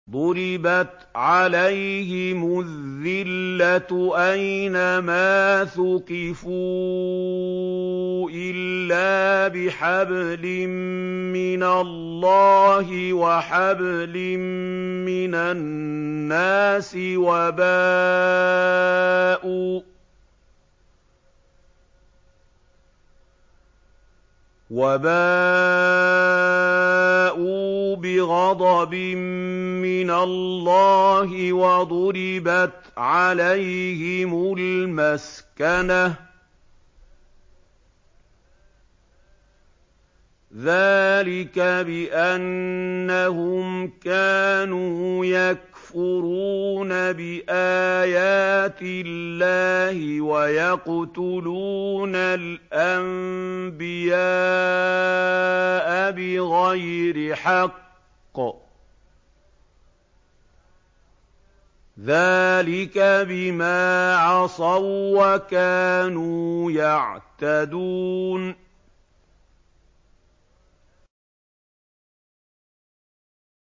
ضُرِبَتْ عَلَيْهِمُ الذِّلَّةُ أَيْنَ مَا ثُقِفُوا إِلَّا بِحَبْلٍ مِّنَ اللَّهِ وَحَبْلٍ مِّنَ النَّاسِ وَبَاءُوا بِغَضَبٍ مِّنَ اللَّهِ وَضُرِبَتْ عَلَيْهِمُ الْمَسْكَنَةُ ۚ ذَٰلِكَ بِأَنَّهُمْ كَانُوا يَكْفُرُونَ بِآيَاتِ اللَّهِ وَيَقْتُلُونَ الْأَنبِيَاءَ بِغَيْرِ حَقٍّ ۚ ذَٰلِكَ بِمَا عَصَوا وَّكَانُوا يَعْتَدُونَ